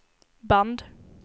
band